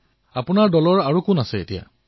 প্ৰধানমন্ত্ৰীঃ আপোনাৰ দলত আৰু কোন কোন আছে